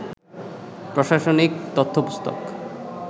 প্রশাসনিক তথ্যপুস্তক